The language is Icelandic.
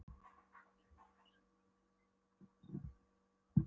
Hér hittir Vigdís forseti borgarstjórann í Róm og konu hans